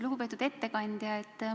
Lugupeetud ettekandja!